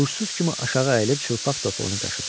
Uşsuz kimi aşağı əyilib çılpaq topuğunu qaşıdı.